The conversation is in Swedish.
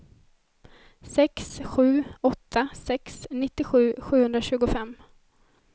sex sju åtta sex nittiosju sjuhundratjugofem